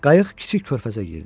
Qayıq kiçik körfəzə girdi.